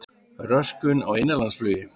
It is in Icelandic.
Röskun á innanlandsflugi